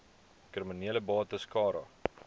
kriminele bates cara